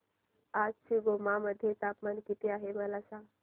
आज शिमोगा मध्ये तापमान किती आहे सांगा